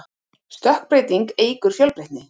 stökkbreyting eykur fjölbreytni